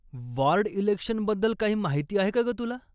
Ward इलेक्शनबद्दल काही माहिती आहे का गं तुला?